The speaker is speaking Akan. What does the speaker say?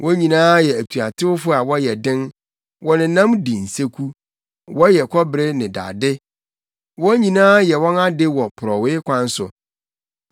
Wɔn nyinaa yɛ atuatewfo a wɔyɛ den, wɔnenam di nseku. Wɔyɛ kɔbere ne dade; wɔn nyinaa yɛ wɔn ade wɔ porɔwee kwan so.